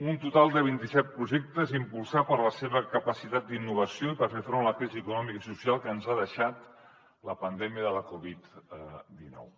un total de vint i set projectes impulsat per la seva capacitat d’innovació i per fer front a la crisi econòmica i social que ens ha deixat la pandèmia de la covid dinou